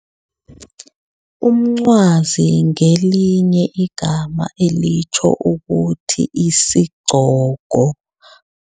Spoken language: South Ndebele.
Umncwazi ngelinye igama elitjho ukuthi isigcoko.